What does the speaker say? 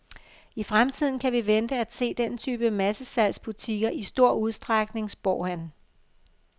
I fremtiden kan vi vente at se den type massesalgs butikker i stor udstrækning, spår han.